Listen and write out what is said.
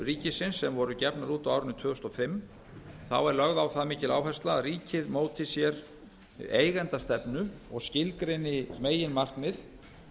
ríkisins sem voru gefnar út á árinu tvö þúsund og fimm er lögð á það mikil áhersla að ríkið móti sér eigendastefnu og skilgreini meginmarkmið